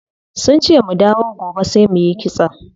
Sunce mu dawo gobe sai muyi kitson.